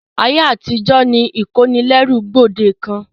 Ayé àtijó ni ìkónilẹ́rú gbòdekàn.